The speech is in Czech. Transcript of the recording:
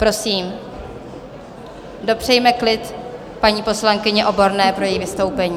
Prosím, dopřejme klid paní poslankyni Oborné pro její vystoupení.